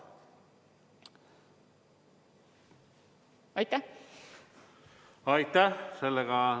Aitäh!